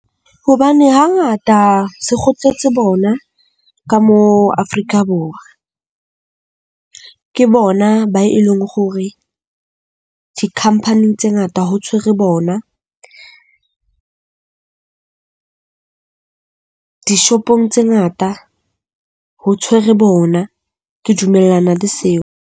Hobane hangata se bona ka mo ka Afrika Borwa. Ke bona ba e leng hore di-company-ng tse tse ngata ho tshwere bona. Dishopong tse ngata ho tshwere bona. Ke dumellana le seo.